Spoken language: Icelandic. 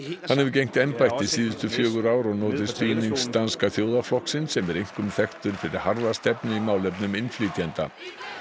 hann hefur gegnt embætti síðustu fjögur ár og notið stuðnings Danska þjóðarflokksins sem er einkum þekktur fyrir harða stefnu í málefnum innflytjenda